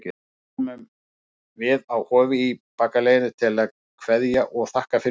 Við komum við á Hofi í bakaleiðinni til að kveðja og þakka fyrir okkur.